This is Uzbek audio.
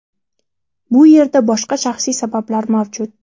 Bu yerda boshqa shaxsiy sabablar mavjud.